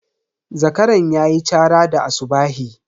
Zakaran ya yi chara da asubahi.